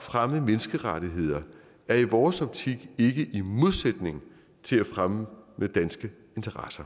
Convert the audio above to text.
fremme menneskerettigheder er i vores optik ikke i modsætning til at fremme danske interesser